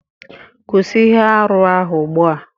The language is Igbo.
Kwụsị ihe arụ ahụ ugbu a